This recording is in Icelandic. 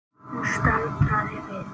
Hún staldraði við.